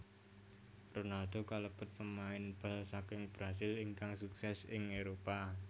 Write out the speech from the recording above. Ronaldo kalebet pemain bal saking Brasil ingkang sukses ing Éropah